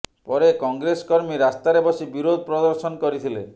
ପରେ କଂଗ୍ରେସ କର୍ମୀ ରାସ୍ତାରେ ବସି ବିରୋଧ ପ୍ରଦର୍ଶନ କରିଥିଲେ